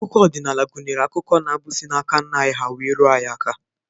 Akụkọ ọdịnala gụnyere akụkọ na abụ, si n'aka nna anyị ha wee ruo anyị aka.